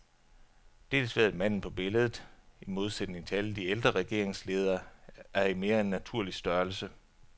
Dels ved at manden på billedet, i modsætning til alle de ældre regeringsledere, er i mere end naturlig størrelse.